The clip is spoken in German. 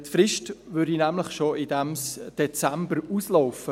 die Frist für dieses Geschäft würde nämlich bereits diesen Dezember ablaufen.